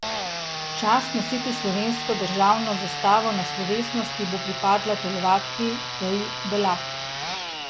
Čast nositi slovensko državno zastavo na slovesnosti bo pripadla telovadki Teji Belak.